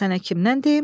Sənə kimdən deyim?